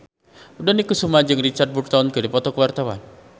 Dony Kesuma jeung Richard Burton keur dipoto ku wartawan